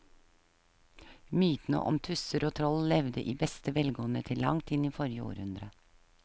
Mytene om tusser og troll levde i beste velgående til langt inn i forrige århundre.